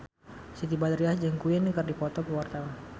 Siti Badriah jeung Queen keur dipoto ku wartawan